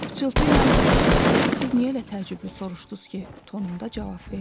Pıçıltı ilə "Siz niyə elə təəccüblü soruşdunuz ki?" tonunda cavab verdi.